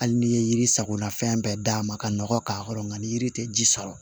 Hali n'i ye yiri sakona fɛn bɛɛ d'a ma ka nɔgɔ k'a kɔrɔ nka ni yiri tɛ ji sɔrɔ